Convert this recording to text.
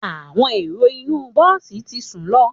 Àwọn ẹrò inu bọ̀si tí sún lọ